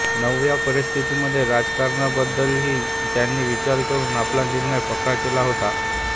नव्या परिस्थितीत राजकारणाबद्दलही त्यांनी विचार करून आपला निर्णय पक्का केला होता